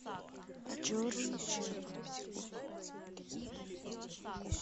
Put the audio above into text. черный чай